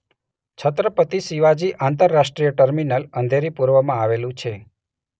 છત્રપતિ શિવાજી આંતરરાષ્ટ્રીય ટર્મિનલ અંધેરી પૂર્વમાં આવેલું છે.